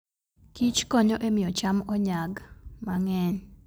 kichkonyo e miyo cham onyag mang'eny.